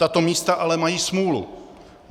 Tato místa ale mají smůlu.